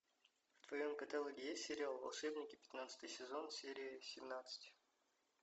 в твоем каталоге есть сериал волшебники пятнадцатый сезон серия семнадцать